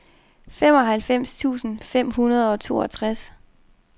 femoghalvfems tusind fem hundrede og toogtres